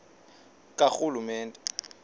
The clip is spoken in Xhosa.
karhulumente